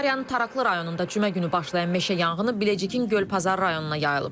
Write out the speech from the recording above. Sakaryanın Taraklı rayonunda cümə günü başlayan meşə yanğını Biləcikin Göl Pazar rayonuna yayılıb.